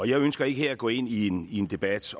jeg ønsker ikke her at gå ind i en en debat